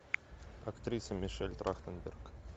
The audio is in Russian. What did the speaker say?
актриса мишель трахтенберг